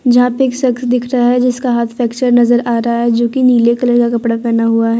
जहां पे एक सख्स दिख रहा है जिसका हाथ फैक्चर नजर आ रहा है जो की नीले कलर का कपड़ा पहना हुआ है।